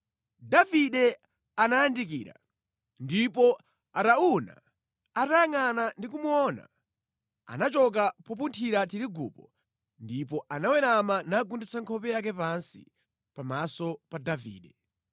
Davide anayandikira, ndipo Arauna atayangʼana ndi kumuona, anachoka popunthira tirigupo ndipo anawerama nagunditsa nkhope yake pansi pamaso pa Davide.